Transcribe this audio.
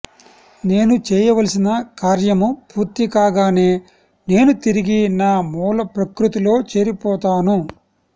నేను చేయవలసిన కార్యము పూర్తికాగానే నేను తిరిగి నా మూల ప్రకృతిలో చేరిపోతాను